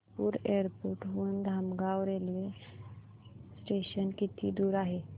Nagpur airport हून Dhamangaon railway station किती दूर आहे